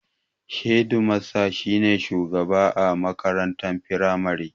Shedimasta shi ne shugaba a makaranta firamare